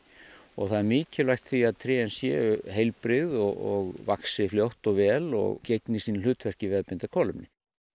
það er mikilvægt því að trén séu heilbrigð og vaxi fljótt og vel og gegni sínu hlutverki við að binda kolefni